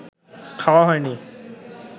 খাওয়া হয়নি